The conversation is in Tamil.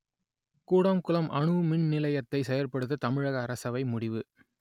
கூடங்குளம் அணுமின் நிலையத்தை செயற்படுத்த தமிழக அரசவை முடிவு